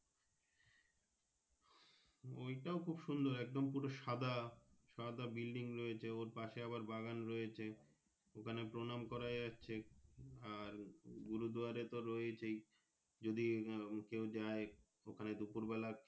ওই টাও খুব সুন্দর সাদা সাদা Building রয়েছে ওর পাশেই আবার বাগান রয়েছে ওখানে প্রণাম করা যাচ্ছে আর গুরু দুয়ার তো রয়েছে যদি ওখানে কেউ যাই ওখানে দুপুর বেলা।